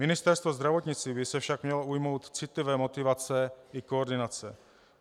Ministerstvo zdravotnictví by se však mělo ujmout citlivé motivace i koordinace.